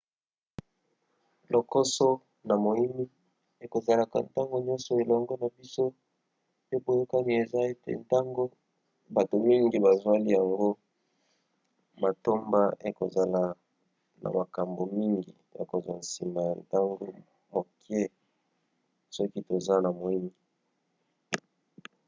lokoso na moimi ekozalaka ntango nioso elongo na biso pe boyokani eza ete ntango bato mingi bazweli yango matomba ekozala na makambo mingi ya kozwa nsima ya ntango mokie soki toza na moimi